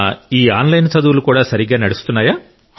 ఈ ఆన్లైన్ చదువులు కూడా సరిగ్గా నడుస్తున్నాయా